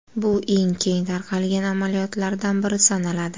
Bu eng keng tarqalgan amaliyotlardan biri sanaladi.